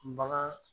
Bagan